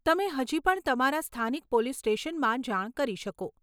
તમે હજી પણ તમારા સ્થાનિક પોલીસ સ્ટેશનમાં જાણ કરી શકો.